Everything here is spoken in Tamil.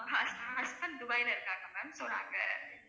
அஹ் hus~ husband dubai ல இருக்காங்க ma'am so நாங்க